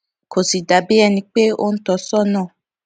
kò sì dà bí ẹni pé ó ń tọ sónà